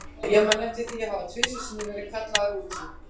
Ég man eftir því að hafa tvisvar sinnum verið kallaður út í